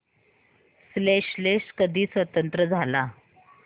Seychelles कधी स्वतंत्र झाला